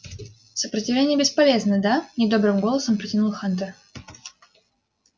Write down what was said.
сопротивление бесполезно да недобрым голосом протянул хантер